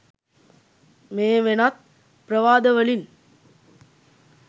මේ වෙනත් ප්‍රවාද වලින්